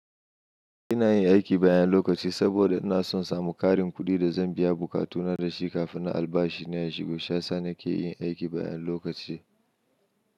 Ina yin aiki bayan lokaci saboda inason samu ƙarin kuɗin da zan biya buƙatuna da shi kafin albashi na ya shigo. Shi yasa nake yin aiki da lokaci.